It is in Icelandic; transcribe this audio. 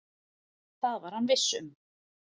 Það var hann viss um.